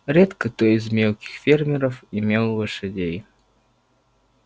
редко кто из мелких фермеров имел лошадей